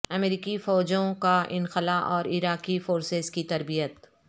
امریکی فوجوں کا انخلا اور عراقی فورسز کی تربیت